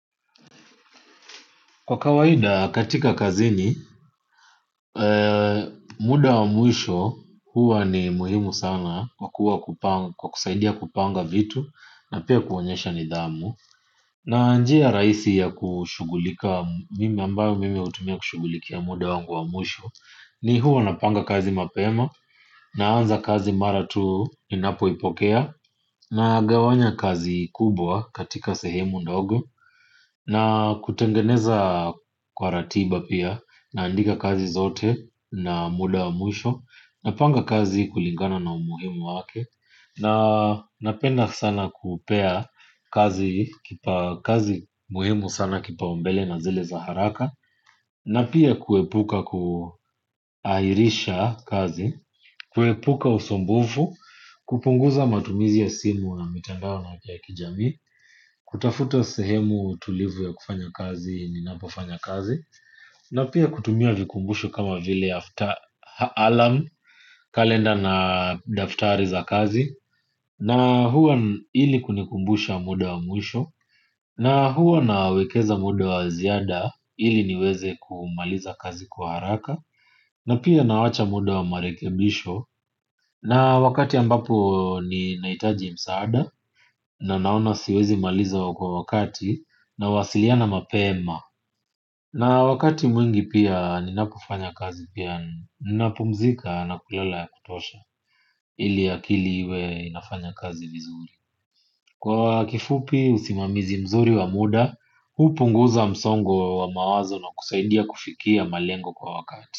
Kwa kawaida katika kazini, muda wa mwisho huwa ni muhimu sana kwa kusaidia kupanga vitu na pia kuonyesha nidhamu. Na njia rahisi ya kushughulika mimi ambaye hutumia kushughulikia muda wa mwisho ni huwa napanga kazi mapema naanza kazi mara tu ninapoipokea. Nagawanya kazi kubwa katika sehemu ndogo na kutengeneza kwa ratiba pia naandika kazi zote na muda wa mwisho napanga kazi kulingana na umuhimu wake na napenda sana kupea kazi muhimu sana kipaumbele na zile za haraka na pia kuepuka kuahirisha kazi kuepuka usumbufu kupunguza matumizi ya simu na mitandao na wa kijamii kutafuta sehemu tulivu ya kufanya kazi ninapofanya kazi na pia kutumia vikumbusho kama vile after alarm kalenda na daftari za kazi na huwa ili kunikumbusha muda wa mwisho na huwa nawekeza muda wa ziada ili niweze kumaliza kazi kwa haraka na pia nawacha muda wa marekebisho. Na wakati ambapo ninahitaji msaada na naona siwezi maliza kwa wakati nawasiliana mapema. Na wakati mwingi pia ninakofanya kazi pia ninapumzika na kulala ya kutosha ili akili iwe inafanya kazi vizuri. Kwa kifupi usimamizi mzuri wa muda, hupunguza msongo wa mawazo na kusaidia kufikia malengo kwa wakati.